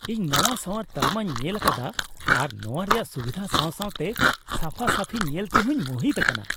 ᱤᱧ ᱱᱟᱶᱟ ᱥᱟᱶᱟᱨ ᱛᱟᱞᱢᱟᱧ ᱧᱮᱞ ᱟᱠᱟᱫᱟ ᱟᱨ ᱱᱚᱶᱟ ᱨᱮᱭᱟᱜ ᱥᱩᱵᱤᱫᱷᱟ ᱥᱟᱣᱥᱟᱣᱛᱮ ᱥᱟᱯᱷᱟᱼᱥᱟᱯᱷᱤ ᱧᱮᱞᱛᱮ ᱦᱚᱸᱧ ᱢᱩᱦᱤᱛ ᱟᱠᱟᱱᱟ ᱾